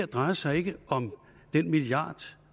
drejer sig om den milliard